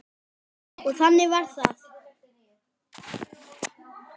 Og þannig varð það.